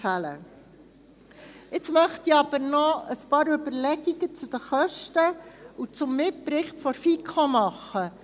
Jetzt möchte ich aber noch ein paar Überlegungen zu den Kosten und zum Mitbericht der FiKo machen.